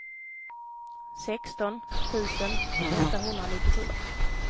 sexton tusen åttahundranittiosju